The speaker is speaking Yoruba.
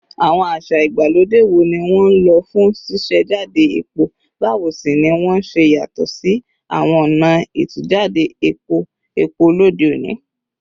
Àwọn àṣà ìgbàlódé wo ni wọ́n lò fún ṣíṣàjáde epo, báwo sì ni wọ́n ṣe yàtọ̀ sí àwọn ọ̀nà ìtújáde epo epo lóde òní?